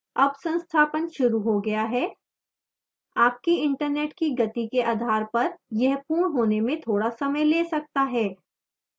अब संस्थापन शुरू हो गया है आपकी internet की गति के आधार पर यह पूर्ण होने में थोड़ा समय the सकता है